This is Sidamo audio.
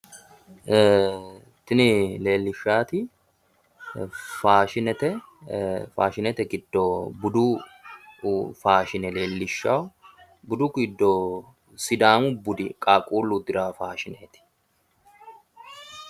Tini leellishahu faashimete, faashinete giddo sidaamu budi giddo qaaqqulu udidhano faashineti